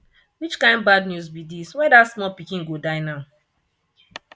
which kin bad news be dis why dat small pikin go die now